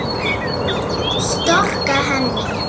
Storka henni.